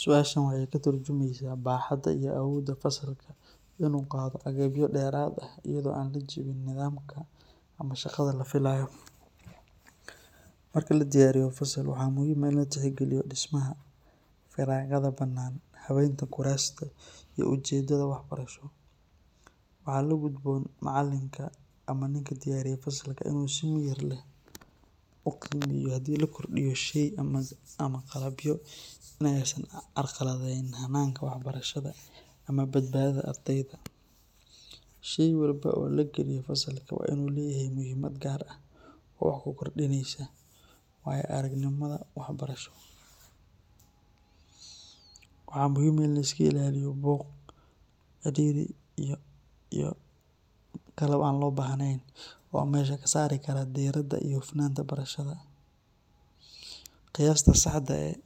Su’aashan waxay ka turjumaysaa baaxadda iyo awoodda fasalka in uu qaado agabyo dheeraad ah iyadoo aan la jebin nidaamka ama shaqada la filayo. Marka la diyaariyo fasal, waxaa muhiim ah in la tixgeliyo dhismaha, firaaqada bannaan, habeynta kuraasta, iyo ujeedada waxbarasho. Waxaa la gudboon macallinka ama ninkii diyaariyey fasalka in uu si miyir leh u qiimeeyo haddii la kordhiyo shey ama qalabyo, inaysan carqaladaynayn hanaanka waxbarashada ama badbaadada ardayda. Shey walba oo la geliyo fasalka waa in uu leeyahay muhiimad gaar ah oo wax ku kordhinaysa waayo-aragnimada waxbarasho. Waxaa muhiim ah in la iska ilaaliyo buuq, cidhiidhi, iyo qalab aan loo baahnayn oo meesha ka saari kara diiradda iyo hufnaanta barashada. Qiyaasta saxda ah ee